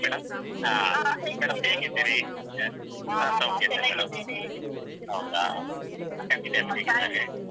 madam, ಆ ಹೌದಾ family ಎಲ್ಲ ಹೇಗಿದ್ದಾರೆ